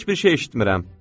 Heç bir şey eşitmirəm.